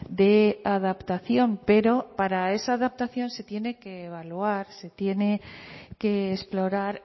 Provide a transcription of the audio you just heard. de adaptación pero para esa adaptación se tiene que evaluar se tiene que explorar